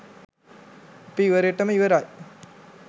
අපි ඉවරෙටම ඉවරයි.